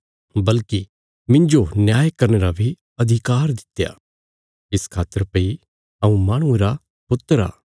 बल्कि मिन्जो न्याय करने रा बी अधिकार दित्या इस खातर भई हऊँ माहणुये रा पुत्र आ